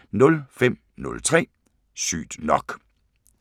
05:03: Sygt nok